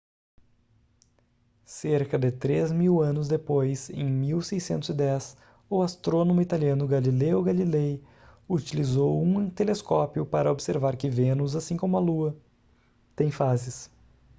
cerca de três mil anos depois em 1610 o astrônomo italiano galileo galilei utilizou um telescópio para observar que vênus assim como a lua tem fases